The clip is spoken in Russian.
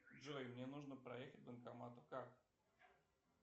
джой мне нужно проехать к банкомату как